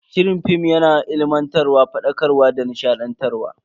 Shirin film yana ilimantarwa, fadakarwa da nishadantarwa.